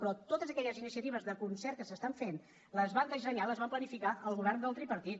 però totes aquelles iniciatives de concert que s’estan fent les va dissenyar les va planificar el govern del tripartit